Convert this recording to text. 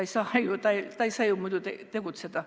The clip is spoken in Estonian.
Muidu ei saa ju tegutseda.